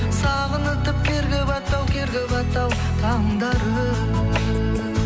сағынытып керге батты ау керге батты ау таңдарым